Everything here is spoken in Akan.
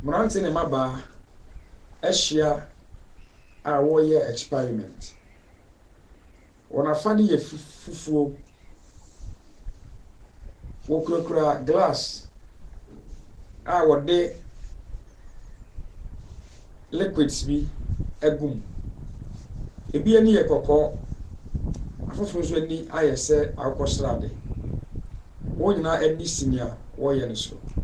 Mmrante ne mmabaa ahyia a wɔreyɛ experiment. Wɔn afade yɛ fufuo, wokurakura glass a wɔde liguids bi agu mu. Ebi ani yɛ kɔkɔɔ, afoforo nso ani ayɛ sɛ akokɔsrade. Wɔn nyinaa ani si nea wɔreyɛ no so.